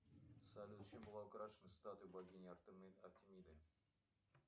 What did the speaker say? салют чем была украшена статуя богини артемиды